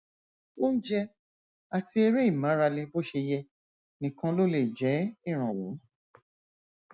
oúnjẹ àti eré ìmárale bó ṣe yẹ nìkan ló lè jẹ ìrànwọ